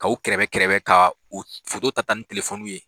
K' u kɛrɛbɛ kɛrɛbɛ ka o foto ta ta ni telefoniw ye.